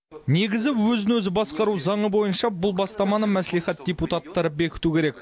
негізі өзін өзі басқару заңы бойынша бұл бастаманы мәслихат депутаттары бекіту керек